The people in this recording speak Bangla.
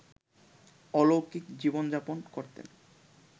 অলৌকিক জীবন-যাপন করতেন